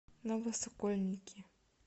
новосокольники